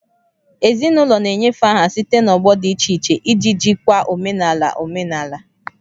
Ezinụlọ na-enyefe aha site n'ọgbọ dị iche iche iji jikwaa omenala omenala